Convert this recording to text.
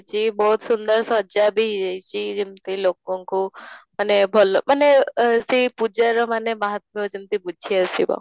ଛି ବହୁତ ସୁନ୍ଦର ସଜା ବି ହେଇଛି ଯେମିତି ଲୋକଙ୍କୁ ମାନେ ଭଲ ମାନେ ଅଃ ସେଇ ପୂଜାର ମାନେ ମହତ୍ୟୁ ଯେମିତି ବୁଝେଇ ଆସିବ